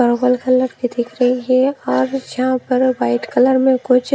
purple colour की दिख रही है और यहां पर वाइट कलर में कुछ--